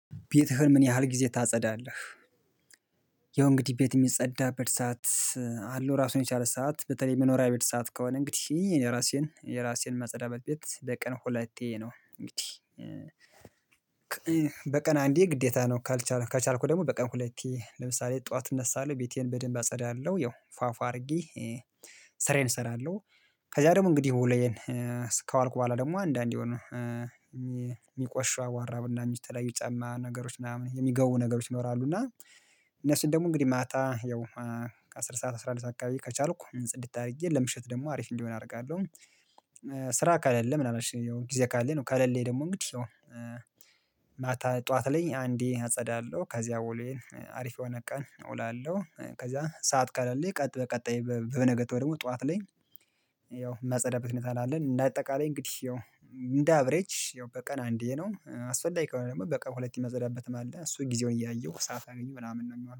ቤትህን ምን ያህል ጊዜ ታጸዳለህ? ያው እንግዲህ ቤት የሚጸዳበት ሰዓት አለው ራሱን የቻለ ሰዓት በተለይ መኖሪያ ቤት ሰዓት ከሆነ እንግዲህ የራሴን የራሴን ማጸዳበት ቤት በቀን ሁለቴ ነው እንግዲህ በቀን አንዴ ግዴታ ነው ካልቻልኩ ከቻልኩ ደግሞ በቀን ሁለቴ ለምሳሌ ጠዋት እነሳለሁ ቤቴን በደንብ አጸዳለሁ ያው ፏፏ አድርጌ ስራዬን እሰራለሁ። ከዛ ደግሞ እንግዲህ ውሎዬን ከዋልኩ በኋላ ደግሞ አንዳንድ የሆነ የሚቆሽሹ አቧራ ብናኞች የተለያዩ ጫማ ነገሮች ምናምን የሚገቡ ነገሮች ይኖራሉ። እና እነሱን ደግሞ እንግዲህ ማታ ያው ከአስር ሰዓት አስራ አንድ ሰዓት አካባቢ ከቻልኩ ጽድት አድርጌ ለምሽት ደግሞ አሪፍ እንዲሆን አደርጋለሁ። ስራ ከሌለ ምናምን እሺ ያው ጊዜ ካለኝ ነው። ከለሌኝ ደግሞ እንግዲህ ያው ማታ ጠዋት ላይ አንዴ አጸዳለሁ ከዚያ ውሎዬን አሪፍ የሆነ ቀን እውላለሁ። ከዛ ሰዓት ከሌለኝ ቀጥ በቀጣይ በነጋታው ደግሞ ጠዋት ላይ ያው ማጸዳበት ሁኔታ ነው። ያለን እንደ አጠቃላይ እንግዲህ ያው እንደ አቭሬጅ ያው በቀን አንዴ ነው አስፈላጊ ከሆነ ደግሞ በቀን ሁለቴ የማጸዳበትም አለ እሱን ጊዜውን እያየሁ ሰዓት ካገኘሁ ምናምን ነው የሚሆነው